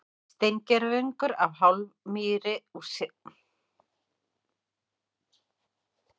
Steingervingur af hármýi úr setlögum í Mókollsdal í Kollafirði í Strandasýslu.